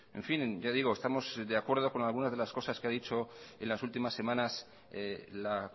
en fin ya digo estamos de acuerdo con algunas de las cosas que ha dicho en las últimas semanas la